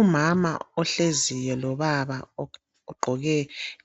umama ohleziyo lobaba ogqoke